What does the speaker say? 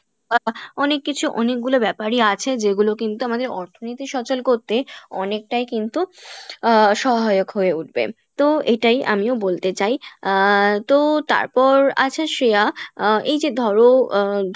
আহ অনেক কিছু অনেকগুলো ব্যাপারই আছে যেগুলো কিন্তু আমাদের অর্থনীতি সচল করতে অনেকটাই কিন্তু আহ সহায়ক হয়ে উঠবে তো এটাই আমিও বলতে চাই আহ তো তারপর আচ্ছা শ্রেয়া আহ এইযে ধরো আহ